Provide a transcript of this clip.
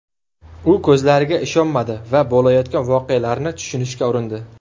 U ko‘zlariga ishonmadi va bo‘layotgan voqealarni tushunishga urindi.